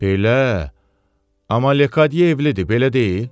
Belə, amma Lekadye evlidir, belə deyil?